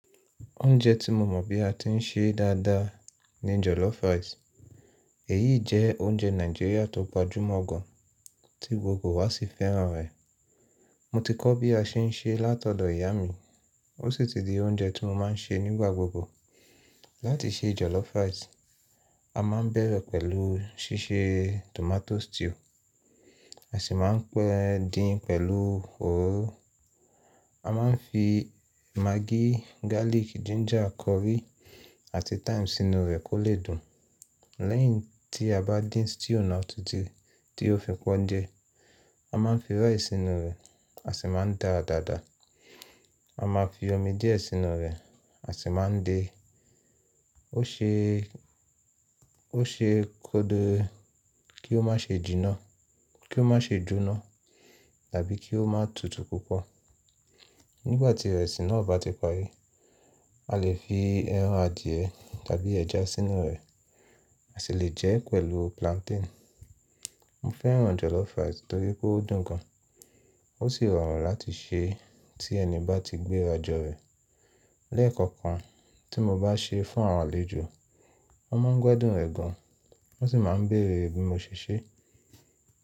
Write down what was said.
Oúnjẹ tí mo mọ̀ bí a ti ń sé dáadáa ni jollof rice. Èyí jẹ oúnjẹ Nigeria tó gbajúmọ̀ gan, tí gbogbo wa sì fẹ́ràn rẹ̀. Mo ti kọ́ bí a ṣe ń sé látọ̀dọ̀ ìyá mi, ó sì ti di oúnjẹ tí mo máa ń sé nígbà gbogbo. Láti sé jollof rice, a má ń bẹ̀rẹ̀ pẹ̀lú ṣíṣe tomato stew, a sì má ń pẹ́ẹ́ din pẹ̀lú òróró. A má ń fi maggi, garlic, ginger, curry àti thyme sínú rẹ̀ kó lè dùn. Lẹ́yìn tí a bá dín stew náà títí tí ó fi pọ́n jẹ, a má ń fi rice sínú rẹ̀, a sì má ń dáa dáadáa. A má fi omi díẹ̀ sínú rẹ̀, a sì má ń de. Ó ṣe, ó ṣe kódò kí ó má ṣe jíná, kí ó má ṣe jóná tàbí kí ó má tutù púpọ̀. Nígbà tí ìrẹsì náà bá ti parí, a lè fi ẹran adìẹ tàbí ẹja sínú rẹ̀, a sì lè jẹ́ ẹ pẹ̀lú plantain. Mo fẹ́ràn jollof rice nítorí pé ó dùn gan, ó sì rọrùn láti sé tí ẹni bá ti gbéra jọ rẹ̀. Lẹ́ẹ̀kọ̀kan tí mo bá sé fún àwọn àlejò, wọ́n má ń gbadùn rẹ̀ gan, wọ́n sì má ń béèrè bí mo ṣe sé.